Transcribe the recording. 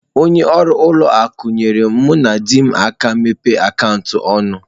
Onye ọrụ ụlọ akụ nyeere mụ na di m aka imepe akaụntụ ọnụ.